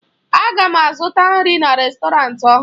Aga m azụta nri na rèstọrantị ọhụrụ